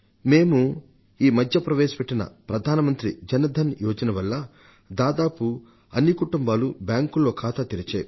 మేము ఈ మధ్య ప్రవేశపెట్టిన ప్రధాన మంత్రి జన్ ధన్ యోజన వల్ల దేశంలోని దాదాపు అన్ని కుటుంబాలు బ్యాంకులో ఖాతాలు తెరిచాయి